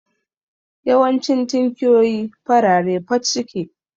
Yawancin tinkiyoyi farare fat suke